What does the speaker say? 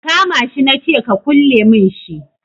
Ka kama shi na ce ka kulle min shi